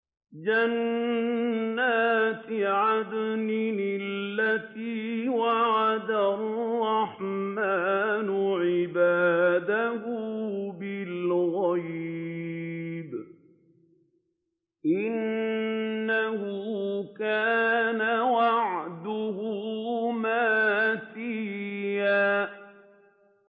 جَنَّاتِ عَدْنٍ الَّتِي وَعَدَ الرَّحْمَٰنُ عِبَادَهُ بِالْغَيْبِ ۚ إِنَّهُ كَانَ وَعْدُهُ مَأْتِيًّا